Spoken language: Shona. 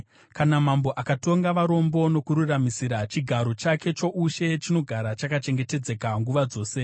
Kana mambo akatonga varombo nokururamisira, chigaro chake choushe chinogara chakachengetedzeka nguva dzose.